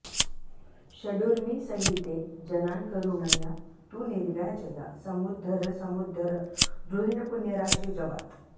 षडूर्मिसहिते जनान्करुणया तु निर्व्याजया समुद्धर समुद्धर द्रुहिणपुण्यराशे जवात्